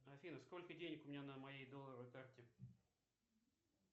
афина сколько денег у меня на моей долларовой карте